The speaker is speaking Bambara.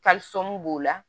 b'o la